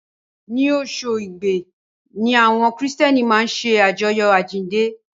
Inú oṣù Igbe ni àwọn Kìrìtẹ́ẹ́nì máa ń ṣe àjọyọ̀ àjíǹde.